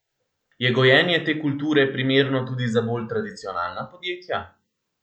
Je gojenje te kulture primerno tudi za bolj tradicionalna podjetja?